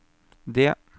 det